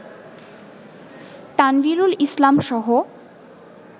Tanvirul ইসলামসহ